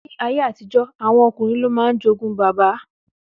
Ní ayé àtijó, ọmọ ọkùnrin ló máa ń jogún baba.